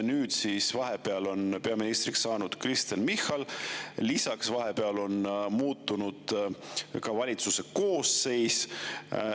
Nüüd on vahepeal peaministriks saanud Kristen Michal, lisaks on vahepeal muutunud valitsuse koosseis.